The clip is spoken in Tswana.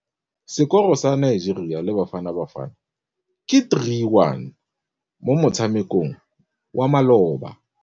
Sekôrô sa Nigeria le Bafanabafana ke 3-1 mo motshamekong wa malôba.